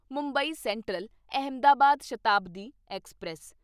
Mumbai central Ahmedabad Shatabdi express